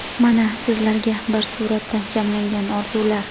mana sizlarga bir suratda jamlangan orzular.